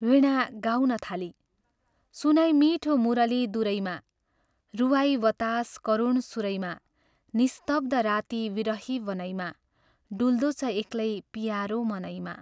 वीणा गाउन थाली " सुनाइ मीठो मुरली दुरैमा, रुवाइ वतास करुण सुरैमा निस्तब्ध राती विरही वनैमा, डुल्दो छ एक्लै पियारो मनैमा।।